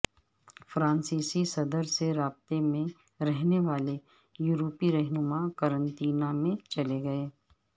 فرانسیسی صدر سے رابطے میں رہنے والے یورپی رہنما قرنطینہ میں چلے گئے